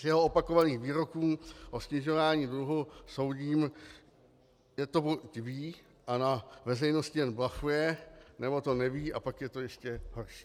Z jeho opakovaných výroků o snižování dluhu soudím, že to buď ví a na veřejnosti jen blafuje, nebo to neví, a pak je to ještě horší.